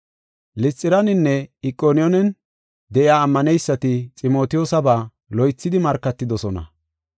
Lisxiraninne Iqoniyoonen de7iya ammaneysati Ximotiyoosaba loythidi markatidosona.